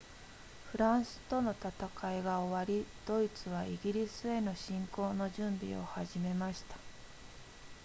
フランスとの戦いが終わりドイツはイギリスへの侵攻の準備を始めました